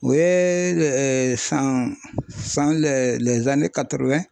O ye san